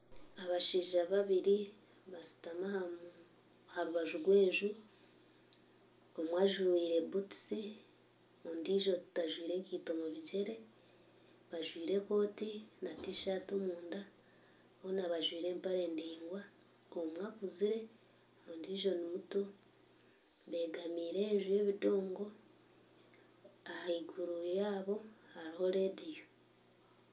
Abashaija babiri bashutami aha rubaju rw'enju omwe ajwaire butusi ondiijo tajwaire nkaito omu bigyere bajwaire ekooti na Tishati omunda boona bajwaire empare ndaingwa omwe akuzire ondiijo nimuto begamiire enju y'obudongo ahaiguru yaabo hariho radiyo